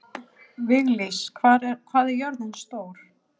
Viglís, hvað er jörðin stór?